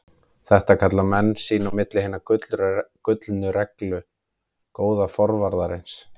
Þetta kalla menn sín á milli Hina gullnu reglu góða forvarðarins.